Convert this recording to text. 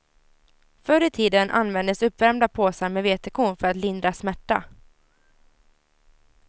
Förr i tiden användes uppvärmda påsar med vetekorn för att lindra smärta.